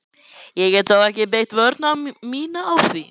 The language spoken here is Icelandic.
Ég get þó ekki byggt vörn mína á því.